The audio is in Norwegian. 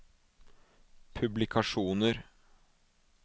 publikasjoner